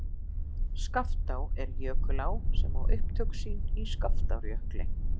Skaftá er jökulá sem á upptök sín í Skaftárjökli.